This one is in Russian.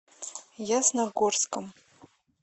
ясногорском